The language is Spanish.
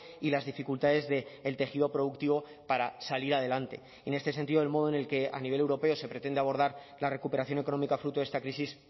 y las dificultades del tejido productivo para salir adelante en este sentido el modo en el que a nivel europeo se pretende abordar la recuperación económica fruto de esta crisis